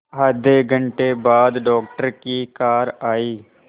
आधे घंटे बाद डॉक्टर की कार आई